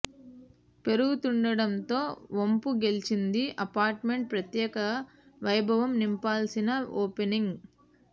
పెరుగుతుండడంతో వంపు గెలిచింది apartment ప్రత్యేక వైభవం నింపాల్సిన ఓపెనింగ్